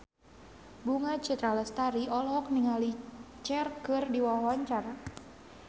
Bunga Citra Lestari olohok ningali Cher keur diwawancara